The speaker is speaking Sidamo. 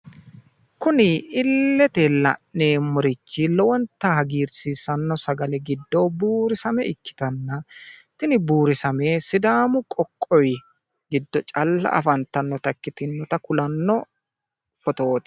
Kuni iillete la'neemmorichi lowontta hagiirsiissanno sagale giddo buurisame ikkitanna tini buurisame sidaamu qoqqowi giddo calla afantannota ikkitinota kulanno odooti.